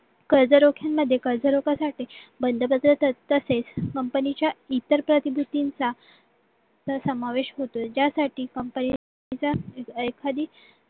कर्जरोख्यांमध्ये कर्जरोख्यासाठी company च्या इतर प्रतिनिधींचा प्रसमावेश होतो ज्यासाठी company ने एखादी